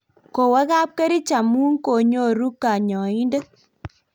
kowo kapkerich amut konyoru kanyoindet